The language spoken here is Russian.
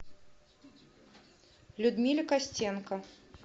людмиле костенко